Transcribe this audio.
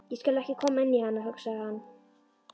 Ég skal ekki koma inn í hana, hugsaði hann.